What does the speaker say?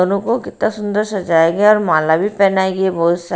दोनों को कितना सुंदर सजाएंगे और माला भी पहनाएंगे बहोत सारे--